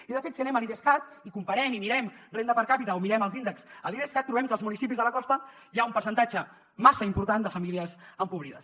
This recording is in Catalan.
i de fet si anem a l’idescat i comparem i mirem renda per capita o mirem els índexs a l’idescat trobem que als municipis de la costa hi ha un percentatge massa important de famílies empobrides